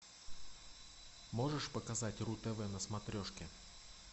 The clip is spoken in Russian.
можешь показать ру тв на смотрешке